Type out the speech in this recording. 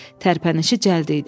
Tərpənişi cəld idi.